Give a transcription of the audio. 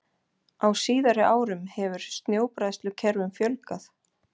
Á síðari árum hefur snjóbræðslukerfum fjölgað.